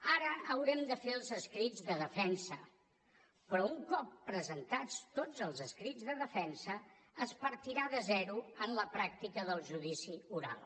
ara haurem de fer els escrits de defensa però un cop presentats tots els escrits de defensa es partirà de zero en la pràctica del judici oral